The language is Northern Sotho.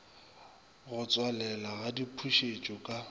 go tswalelwa ga dipušetšo ka